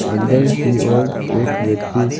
अंदर की ओर एक व्यक्ति--